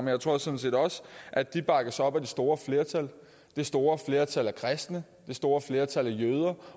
jeg tror sådan set også at de bakkes op af det store flertal det store flertal blandt kristne det store flertal blandt jøder